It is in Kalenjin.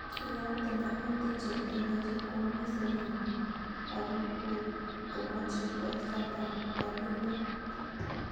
Iyokten baruet en Cheptoo ilenchi koamisen omut ago kotkomoche kwo sapa ra kemboi